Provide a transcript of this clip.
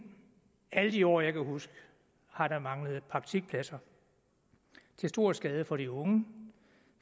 alle de år jeg kan huske har der manglet praktikpladser til stor skade for de unge